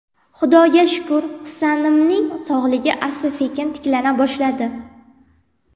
Xudoga shukr, Husanimning sog‘lig‘i asta-sekin tiklana boshladi.